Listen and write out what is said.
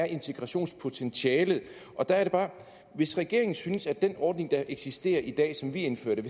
integrationspotentialet er og der er det bare at hvis regeringen synes at den ordning der eksisterer i dag som vi indførte